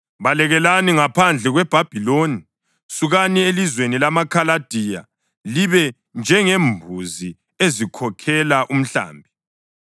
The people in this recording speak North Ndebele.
Balekelani ngaphandle kweBhabhiloni; sukani elizweni lamaKhaladiya, libe njengembuzi ezikhokhela umhlambi.